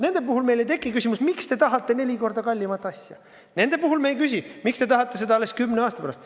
Nende puhul meil ei teki küsimust, miks te tahate neli korda kallimat asja, nende puhul me ei küsi, miks te tahate seda alles kümne aasta pärast.